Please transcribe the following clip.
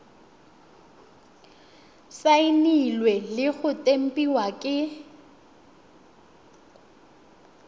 saenilwe le go tempiwa ke